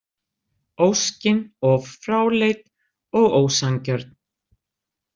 Óskin of fráleit og ósanngjörn.